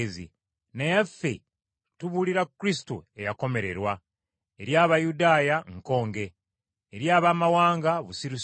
naye ffe tubuulira Kristo eyakomererwa. Eri Abayudaaya nkonge, eri Abaamawanga busirusiru,